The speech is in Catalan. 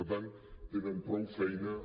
per tant tenen prou feina amb